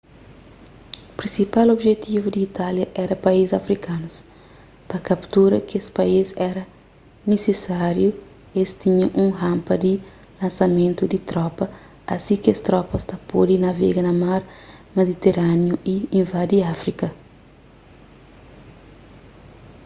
prinsipal objetivu di itália éra país afrikanus pa kaptura kes país éra nisisáriu es tinha un ranpa di lansamentu di tropa asi ki kes tropas ta pode navega na mar mediterániu y invadi áfrika